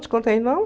Te contei não?